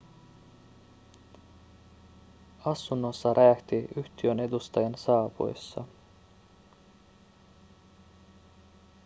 asunnossa räjähti yhtiön edustajan saapuessa